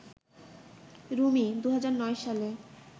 রুমি ২০০৯ সালে